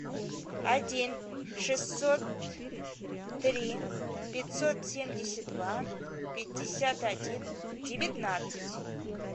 один шестьсот три пятьсот семьдесят два пятьдесят один девятнадцать